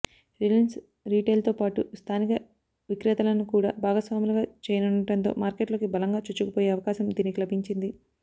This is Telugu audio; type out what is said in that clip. రిలయన్స్ రిటైల్తోపాటు స్థానిక విక్రేతలను కూడా భాగస్వాములుగా చేయనుండటంతో మార్కెట్లోకి బలంగా చొచ్చుకుపోయే అవకాశం దీనికి లభించింది